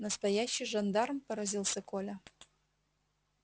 настоящий жандарм поразился коля